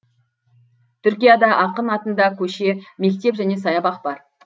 түркияда ақын атында көше мектеп және саябақ бар